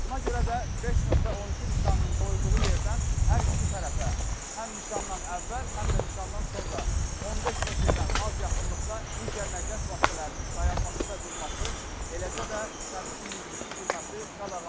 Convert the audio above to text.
Buna görə də 5.12 nişanının qoyulduğu yerdən hər iki tərəfə, həm nişandan əvvəl, həm də nişandan sonra 15 metrdən az yaxınlıqda digər nəqliyyat vasitələrinin dayanması və durması, eləcə də sərnişin mindirilib düşürülməsi qadağandır.